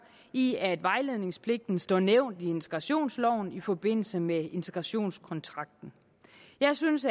i at vejledningspligten står nævnt i integrationsloven i forbindelse med integrationskontrakten jeg synes